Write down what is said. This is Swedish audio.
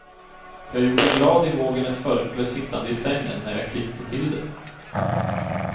Jag gjorde glad i hågen ett förkläde sittande i sängen, när jag klippte till det.